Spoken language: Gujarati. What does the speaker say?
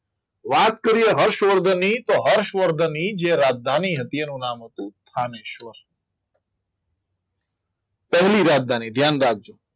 વાત કરીએ હર્ષવર્ધનની તો હર્ષવર્ધનની જે રાજધાની હતી એનું નામ હતું રામેશ્વર પહેલી રાજધાની ધ્યાન રાખજો